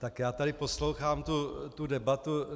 Tak já tady poslouchám tu debatu...